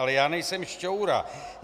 Ale já nejsem šťoura.